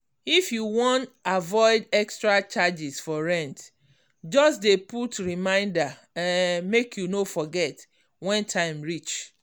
if you wan avoid extra charges for rent just dey put reminder um make you no forget when time reach.